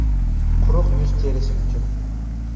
Quruq yuz terisi uchun .